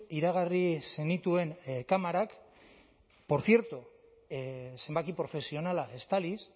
iragarri zenituen kamerak por cierto zenbaki profesionala estaliz